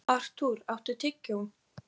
Þar næst áttu þeir eintal biskup og Ari.